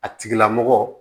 A tigilamɔgɔ